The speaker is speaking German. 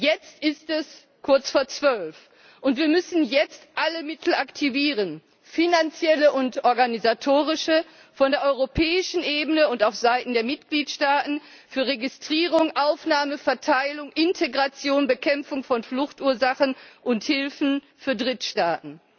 Jetzt ist es kurz vor zwölf, und wir müssen jetzt alle Mittel aktivieren finanzielle und organisatorische, auf der europäischen Ebene und auf Seiten der Mitgliedstaaten für die Registrierung, Aufnahme, Verteilung, Integration, die Bekämpfung von Fluchtursachen und Hilfen für Drittstaaten.